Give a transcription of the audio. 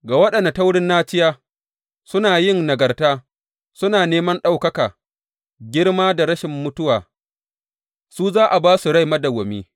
Ga waɗanda ta wurin naciya suna yin nagarta suna neman ɗaukaka, girma da rashin mutuwa, su za a ba su rai madawwami.